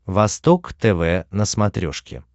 восток тв на смотрешке